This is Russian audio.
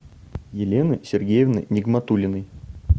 елены сергеевны нигматуллиной